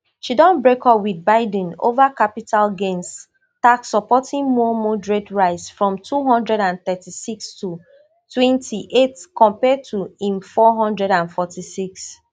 she don break up wit biden over capital gains tax supporting more moderate rise from two hundred and thirty-six to twenty-eight compare to im four hundred and forty-six